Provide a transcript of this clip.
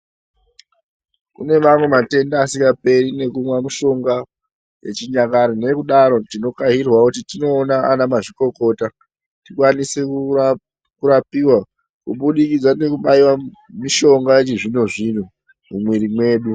Kune mamwe matenda asingaperi nekumwa mushonga yechinyakare nekudaro tinokairwawo kuti tinoona ana mazvikokota tikwanise kurapiwa kubudikidza nekubaya mushonga yechizvino zvino mumwiri medu